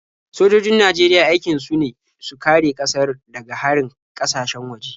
Sojojin Najeriya aikin su ne su kare ƙasar daga harin ƙasashen waje.